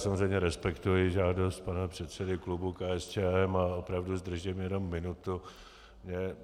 Samozřejmě respektuji žádost pana předsedy klubu KSČM a opravdu zdržím jenom minutu.